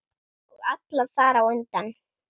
Og alla þar á undan.